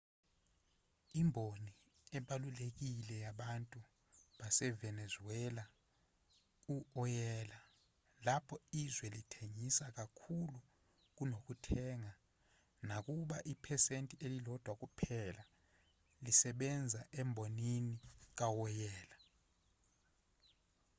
imboni ebalulekile yabantu basevenezuela u-oyela lapho izwe lithengisa kakhulu kunokuthenga nakuba iphesenti ililodwa kuphela lisebenza embonini kawoyela